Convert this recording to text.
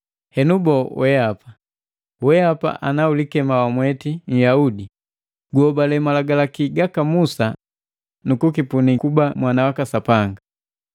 Henu boo wehapa? Wehapa, ana ulikema wamweti Nhyaudi, guhobale Malagalaki gaka Musa nukukipuni kuba mwana waka Sapanga,